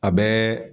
A bɛɛ